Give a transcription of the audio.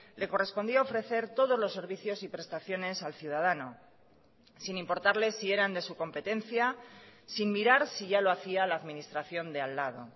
le correspondía ofrecer todos los servicios y prestaciones al ciudadano sin importarle si eran de su competencia sin mirar si ya lo hacía la administración de al lado